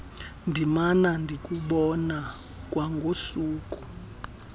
ndimana ndikubona kwangosuku